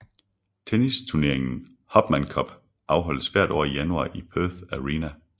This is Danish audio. Tennisturneringen Hopman Cup afholdes hvert år i januar i Perth Arena